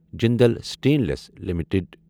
Jindal stainless limited